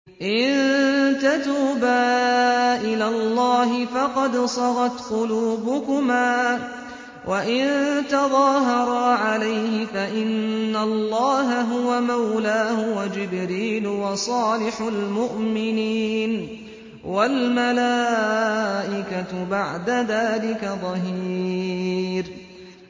إِن تَتُوبَا إِلَى اللَّهِ فَقَدْ صَغَتْ قُلُوبُكُمَا ۖ وَإِن تَظَاهَرَا عَلَيْهِ فَإِنَّ اللَّهَ هُوَ مَوْلَاهُ وَجِبْرِيلُ وَصَالِحُ الْمُؤْمِنِينَ ۖ وَالْمَلَائِكَةُ بَعْدَ ذَٰلِكَ ظَهِيرٌ